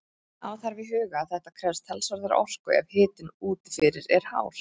Hafa þarf í huga að þetta krefst talsverðrar orku ef hitinn úti fyrir er hár.